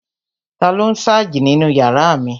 Taló n sáàjì nínu yàrá mi?